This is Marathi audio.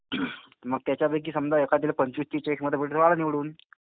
मग त्याच्यापैकी समजा एखाद्याला पंचवीस तीस चाळीस मतं पडली तर आला निवडून.